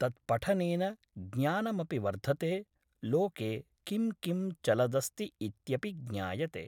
तत्पठनेन ज्ञानमपि वर्धते लोके किं किं चलदस्ति इत्यपि ज्ञायते